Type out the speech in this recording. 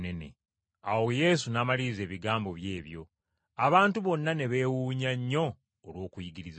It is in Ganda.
Awo Yesu n’amaliriza ebigambo bye ebyo. Abantu bonna ne beewuunya nnyo olw’okuyigiriza kwe.